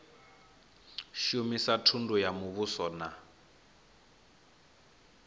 shumisa thundu ya muvhuso na